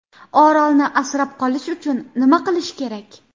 Orolni asrab qolish uchun nima qilish kerak?